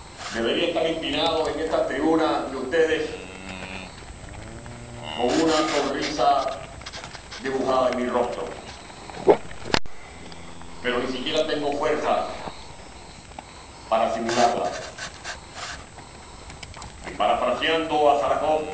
Debería estar empinado en esta tribuna ante ustedes con una sonrisa dibujada en mi rostro, pero ni siquiera tengo fuerzas para simularla y, parafraseando a Sájarov,